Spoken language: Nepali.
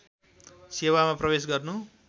सेवामा प्रवेश गर्नु